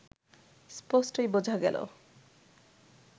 স্পষ্টই বোঝা গেল